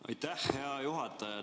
Aitäh, hea juhataja!